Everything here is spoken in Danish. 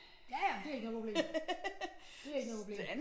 Ja ja men det ikke noget problem det ikke noget problem